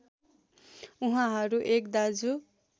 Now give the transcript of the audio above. उहाँहरू एक दाजु